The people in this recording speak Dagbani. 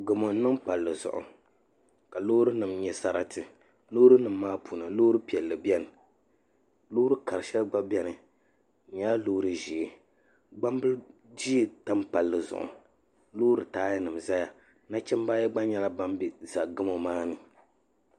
Gamo n niŋ palli zuɣu ka loori nim nyɛ sarati loori nim maa puuni loori piɛlli biɛni loori kari shɛli gba biɛni di nyɛla loori ʒiɛ gbambili ʒiɛ tam palli zuɣu loori taaya nim ʒɛya nachimbi ayi gba nyɛla bin ʒɛ gamo maa ni